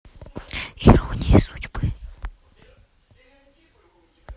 ирония судьбы